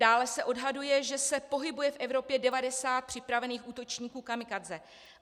Dále se odhaduje, že se pohybuje v Evropě 90 připravených útočníků kamikadze.